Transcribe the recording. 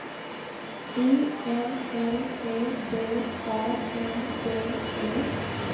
I N L E D A N D E